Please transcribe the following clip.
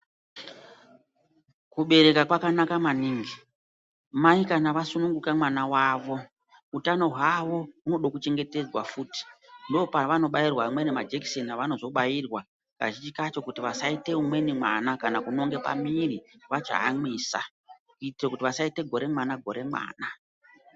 Kubereka kwakanaka maningi, mai kana vasununguka mwana wavo, utano hwavo hunoda kuchengetedzwa futi. Ndopeva nozobairwa amweni majekiseni evanozobairwa futi kazhinji kacho kuti vasaita umweni mwana kana kuti vasaita pa mwiri vachaamwisa, kuita kuti vasaita gore mwana gore mwana.